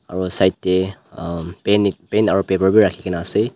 aro side teh umm pen aro paper bi rakhigena ase.